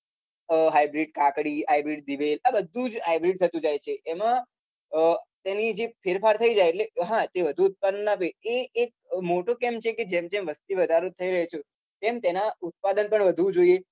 અમ hybrid કાકડી hybrid દિવેલ આ બધું જ hybrid થતું જાય છે એમાં અમ તેની જે ફેરફાર થઇ જાય એટલે હા તે વધુ ઉત્પાદન આપે એ એક motto કેમ છે કે જેમ જેમ વસ્તીવધારો થઇ રહ્યો છો તેમ તેના ઉત્પાદન પણ વધવું જોઈએ.